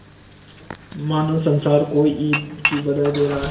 मानो संसार को ईद की बधाई दे रहा है